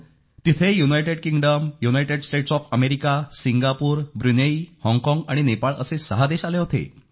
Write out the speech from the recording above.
तिथे United Kingdom United States of America Singapore Brunei हाँगकाँग आणि नेपाळ असे सहा देश आले होते